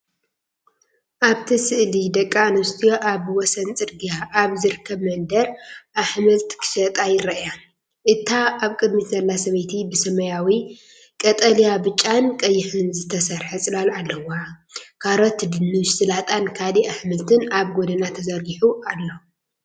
ኣብቲ ስእሊ ደቂ ኣንስትዮ ኣብ ወሰን ጽርግያ ኣብ ዝርከብ መደበር ኣሕምልት ክሸጣ ይረኣያ። እታ ኣብ ቅድሚት ዘላ ሰበይቲ ብሰማያዊ፡ ቀጠልያ፡ ብጫን ቀይሕን ዝተሰርሐ ጽላል ኣለዋ። ካሮት፡ ድንሽ፡ ሰላጣን ካልእ ኣሕምልትን ኣብ ጎድና ተዘርጊሑ ኣሎ።